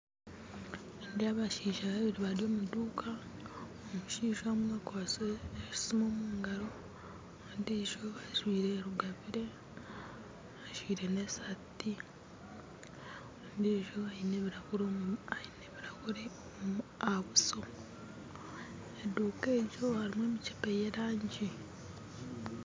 Nindeeba abashaija babiri bari omuduuka, omushaija omwe akwatsire esimu omungaro ondiijo ajwaire rugabire enjwaire neshati ondiijo aine ebirahure aha buso, eduuka egyo harimu emikyebe yerangi.